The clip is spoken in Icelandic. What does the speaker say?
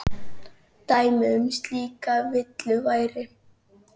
Dæmi um slíka villu væri